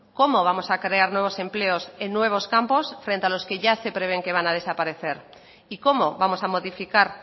cómo vamos a crear nuevos empleos en nuevos campos frente a los que ya se prevén que van a desaparecer y cómo vamos a modificar